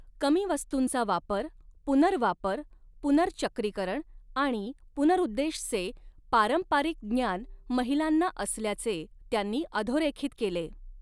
कमी वस्तूंचा वापर, पुनर्वापर, पुनर्चक्रीकरण आणि पुनर्उद्देश चे पारंपारिक ज्ञान महिलांना असल्याचे त्यांनी अधोरेखित केले.